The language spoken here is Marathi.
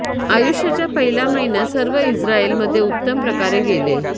आयुष्याच्या पहिल्या महिन्यात सर्व इस्राएल मध्ये उत्तम प्रकारे गेले